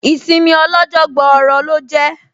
Ìsinmi ọ lọ́jọ́ gbọọrọ lọ jẹ́